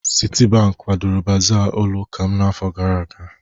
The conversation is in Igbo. Citibank kwadoro baaza ụlọ ụka m n'afọ gara aga.